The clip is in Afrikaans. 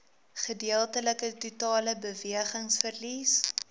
gedeeltelike totale bewegingsverlies